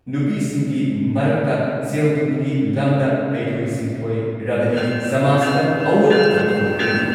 ꯅꯨꯄꯤꯁꯤꯡꯒꯤ ꯃꯔꯛꯇ ꯁꯦꯜ ꯊꯨꯝꯒꯤ ꯂꯝꯗ ꯍꯩꯊꯣꯏ ꯁꯤꯡꯊꯣꯏꯔꯕꯗꯤ ꯁꯃꯥꯖꯇ ꯑꯑꯣꯟꯕ ꯄꯨꯔꯛꯄ ꯉꯝꯒꯅꯤ ꯫